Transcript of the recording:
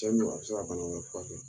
Tiɲɛn do a bɛ se ka bana wɛrɛ furakɛ